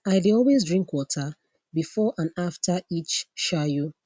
i dey always drink water before and after each shayo